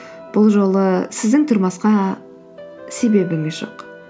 бұл жолы сіздің тұрмасқа себебіңіз жоқ